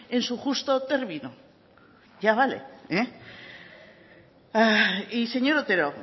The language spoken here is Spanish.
en su justo término ya vale eh y señor otero